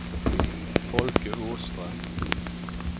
Folke Åström